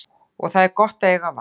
Og það er gott að eiga val.